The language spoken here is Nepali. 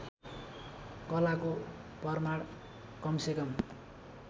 कलाको प्रमाण कमसेकम